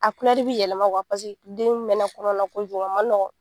A bi yɛlɛma paseke den mɛnna kɔnɔ na ko jugu a man nɔgɔ.